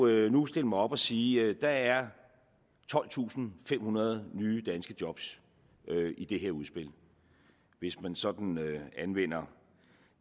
jo nu stille mig op og sige at der er tolvtusinde og femhundrede nye danske job i det her udspil hvis man sådan anvender